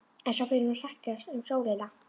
En svo fer hún að hrekjast um sjóinn.